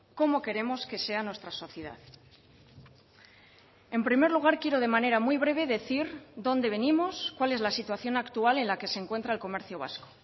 cómo queremos que sea nuestra sociedad en primer lugar quiero de manera muy breve decir dónde venimos cuál es la situación actual en la que se encuentra el comercio vasco